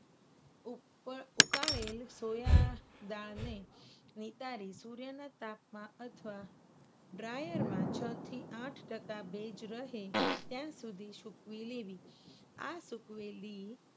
ઉપર ઉકાળેલ સોયાદાળને નિતારી સૂર્યના તાપમા અથવા dryer માં છ થી આઠ ટકા ભેજ રહે ત્યાં સુધી સુકવી લેવી. આ સુકવેલી